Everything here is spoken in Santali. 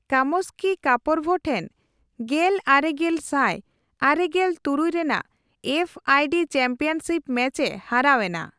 ᱠᱟᱢᱥᱠᱤ ᱠᱟᱯᱚᱨᱵᱷ ᱴᱷᱮᱱ ᱜᱮᱞ ᱟᱨᱮᱜᱮᱞ ᱥᱟᱭ ᱟᱨᱮᱜᱮᱞ ᱛᱩᱨᱩᱭ ᱨᱮᱱᱟᱜ F I D championship match ᱮ ᱦᱟᱨᱟᱣ ᱮᱱᱟ ᱾